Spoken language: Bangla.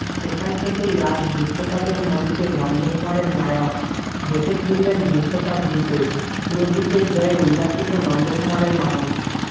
সেখান থেকেই আজ বিশ্বকাপের মঞ্চে নন্দকুমারের নায়ক দেশে ফিরলেন বিশ্বকাপ জিতে সুরজিতের জয়ে উল্লাসিত নন্দকুমারের মানুষ